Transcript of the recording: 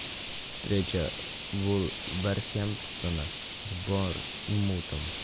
встреча вулверхэмптона с борнмутом